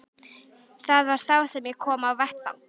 Það var þá sem ég kom á vettvang.